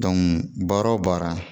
baara o baara